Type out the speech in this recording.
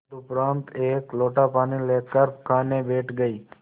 तदुपरांत एक लोटा पानी लेकर खाने बैठ गई